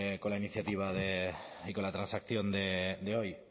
con la iniciativa de y con la transacción de hoy